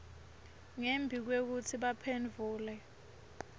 ngembi kwekutsi baphendvule